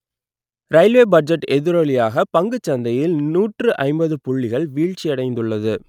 railway budget எதிரொலியாக பங்குச்சந்தையில் நூற்று ஐம்பது புள்ளிகள் வீழ்ச்சியடைந்துள்ளது